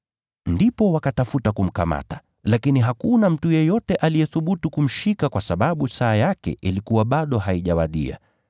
Ndipo wakatafuta kumkamata, lakini hakuna mtu yeyote aliyethubutu kumshika kwa sababu saa yake ilikuwa bado haijawadia.